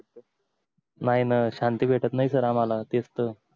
नाही न शांती भेटत नाही सर आम्हाला तेच त